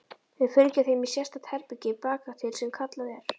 Við fylgjum þeim í sérstakt herbergi bakatil sem kallað er